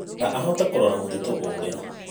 Na ahote kũũrora mũtitũ ũrĩa.